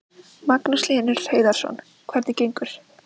Magnús Hlynur Hreiðarsson: Hvernig gengur?